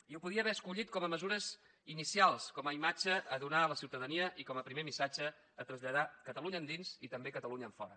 i ho podia haver escollit com a mesures inicials com a imatge a donar a la ciutadania i com a primer missatge a traslladar catalunya endins i també catalunya enfora